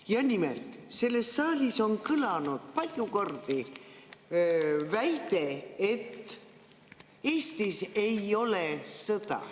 Ja nimelt, selles saalis on kõlanud palju kordi väide, et Eestis ei ole sõda.